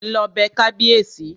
Lọ bẹ kábíèsí!